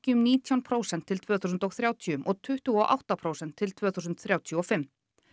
um nítján prósent til tvö þúsund og þrjátíu og tuttugu og átta prósent til tvö þúsund þrjátíu og fimm